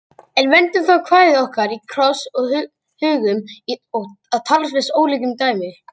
En vendum þá kvæði okkar í kross og hugum að talsvert ólíku dæmi.